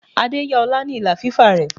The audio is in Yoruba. Adé yá ọlá ni ìlà fífà rẹ.